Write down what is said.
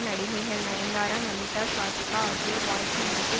நடிகைகள் நயன்தாரா நமிதா ஸ்வாதிகா ஆகியோர் வாழ்த்தி முடிக்க